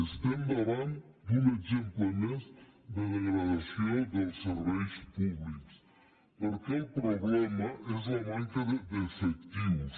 estem davant d’un exemple més de degradació dels serveis públics perquè el problema és la manca d’efectius